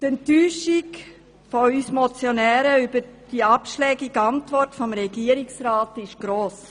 Die Enttäuschung von uns Motionären über die abschlägige Antwort des Regierungsrats ist gross.